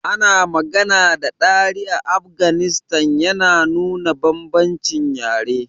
Ana magana da Dari a Afghanistan, yana nuna bambancin yare.